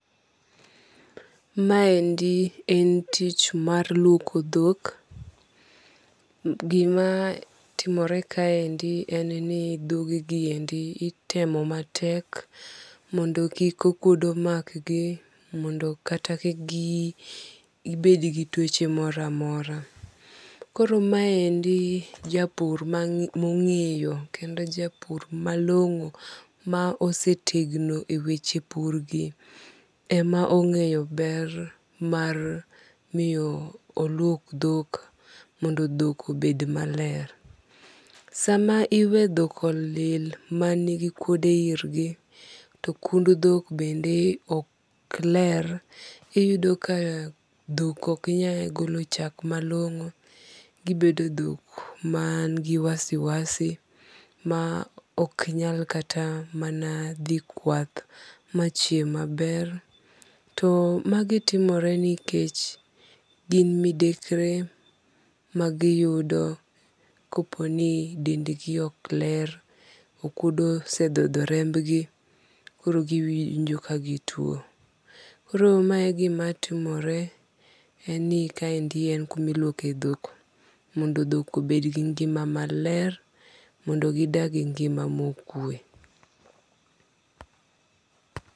Ma endi en tich mar luoko dhok. Gima timore kaendi en ni dhogegi endi itemo matek mondo kik okuodo mak gi mondo kata kik gibed gi tuoche moro amora. Koro maendi japur mong'eyo kendo japur malong'o ma osetegno e weche pur gi ema ong'eyo ber mar miyo oluok dhok mondo dhok obed maler. Sam iwe dhok olil manigi okuodo irgi to kund dhok bende ok ler. Iyudo ka dhok ok nyal golo chak malong'o. Gibedo dhok man gi wasiwasi ma ok nyal kata mana dhi kwath machiem maber. To magi timore nikech gin midekre magiyudo kopo ni dendgi ok ler. Okuodo osedhodho remb gi koro giwinjo ka gituo. Koro mae e gima timore. En ni kaendi en kuma iluoke dhok momdo dhok obed gi ngima maler mondo gidag gi ngima mokwe.